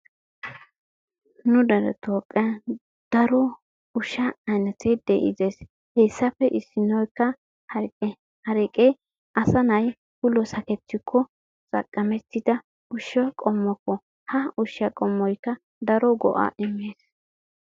Nu dere toophiyaan daro ushsha ayinete de'idees, he issappe issinoykka hareqqe, hareqqe asanay ulo sakkettikko xaqqamettida ushsha qommokko. ha ushsha qommoykka daro go''a immees.